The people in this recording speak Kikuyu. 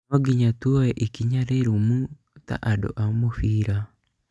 Nonginya tuoe ikinya rĩrũmu ta andũ a mũbira